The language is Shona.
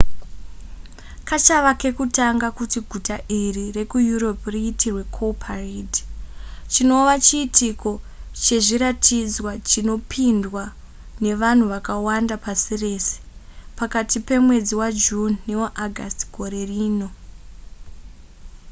kachava kekutanga kuti guta iri rekueurope riitirwe cowparade chinova chiitiko chezviratidzwa chinopindwa nevanhu vakawanda pasi rese pakati pemwedzi wajune newaaugust gore rino